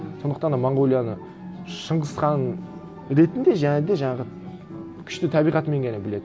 сондықтан монғолияны шыңғыс хан ретінде және де жаңағы күшті табиғатымен ғана біледі